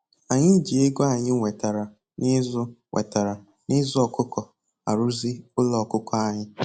Anyị ji ego anyị nwetara na-ịzụ nwetara na-ịzụ ọkụkọ arụzi ụlọ ọkụkọ anyị